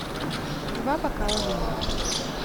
два бокала вина